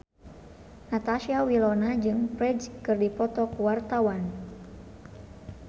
Natasha Wilona jeung Ferdge keur dipoto ku wartawan